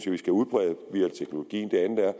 vi skal udbrede via teknologien